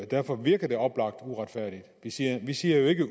derfor virker det oplagt uretfærdigt vi siger vi siger jo ikke